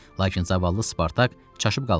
Lakin zavallı Spartak çaşıb qalmışdı.